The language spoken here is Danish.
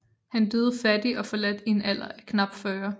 Han døde fattig og forladt i en alder af knap 40 år